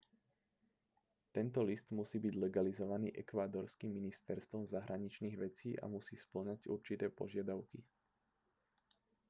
tento list musí byť legalizovaný ekvádorským ministerstvom zahraničných vecí a musí spĺňať určité požiadavky